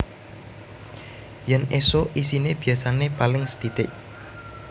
Yen esuk isine biasane paling sethithik